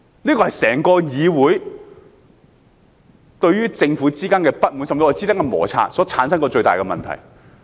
這是導致整個議會對政府不滿、甚至與其產生摩擦的最大問題。